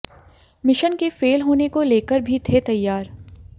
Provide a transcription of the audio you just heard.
mission के fail होने को लेकर भी थे तैयार